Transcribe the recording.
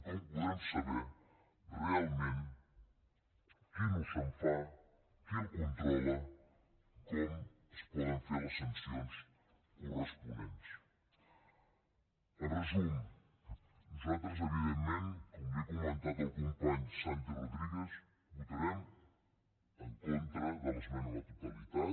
com podrem saber realment quin ús se’n fa qui el controla com es poden fer les sancions corresponents en resum nosaltres evidentment com he comentat al company santi rodríguez votarem en contra de l’esmena a la totalitat